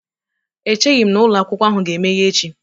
Echeghị m na ụlọ akwụkwọ ahụ ga-emeghe echi.